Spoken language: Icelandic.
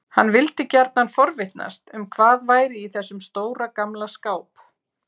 Hann vildi gjarnan forvitnast um hvað væri í þessum stóra, gamla skáp.